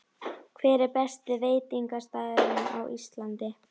Hver er besti veitingastaðurinn á Íslandi?